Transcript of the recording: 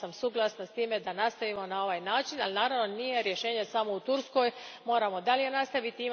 Ja sam suglasna s time da nastavimo na ovaj način, ali naravno nije rješenje samo u Turskoj, moramo dalje nastaviti.